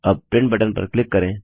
अब print button पर click करें